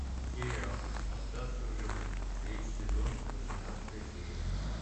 сериал остаться в живых третий сезон восемнадцатая серия